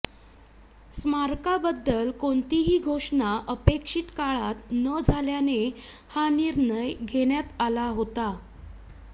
स्मारकाबद्दल कोणतीही घोषणा अपेक्षित काळात न झाल्याने हा निर्णय घेण्यात आला होता